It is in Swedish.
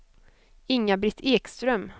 Inga-Britt Ekström